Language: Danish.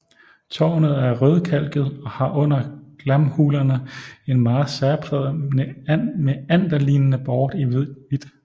Tårnet er rødkalket og har under glamhullerne en meget særpræget meanderlignende bort i hvidt